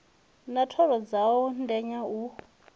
na thoro dzawo ndenya u